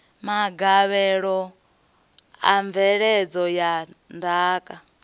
magavhelo a mveledzo ya ndaka